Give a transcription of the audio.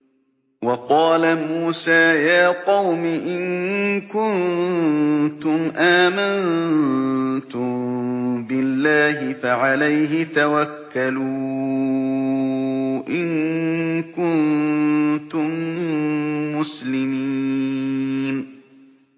وَقَالَ مُوسَىٰ يَا قَوْمِ إِن كُنتُمْ آمَنتُم بِاللَّهِ فَعَلَيْهِ تَوَكَّلُوا إِن كُنتُم مُّسْلِمِينَ